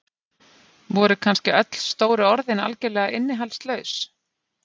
Voru kannski öll stóru orðin algjörlega innihaldslaus?